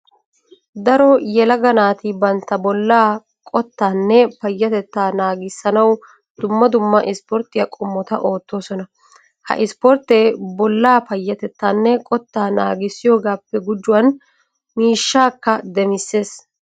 Daro yelaga naati bantta bollaa qottaanne payyatettaa naagissanawu dumma dumma ispporttiya qommota oottoosona. Ha ispporttee bollaa payyatettaanne qottaa naagissiyogaappe gujuwan miishshaakka demissees.